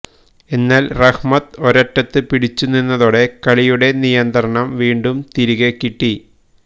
എന്നാല് റഹ്മത്ത് ഒരറ്റത്ത് പിടിച്ചു നിന്നതോടെ കളിയുടെ നിയന്ത്രണം വീണ്ടും തിരികെകിട്ടി